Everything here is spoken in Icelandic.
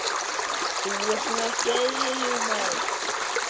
Þú ert nú ekki eðlilegur, maður!